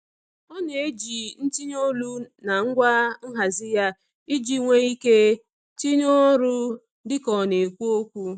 Ọ na-eji ntinye olu na ngwa nhazi ya iji nwee ike tinye ọrụ dị ka ọ na-ekwu okwu.